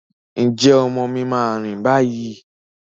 Ǹjẹ́ ọmọ mi máa rìn báyìí?